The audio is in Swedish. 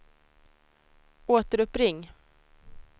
återuppring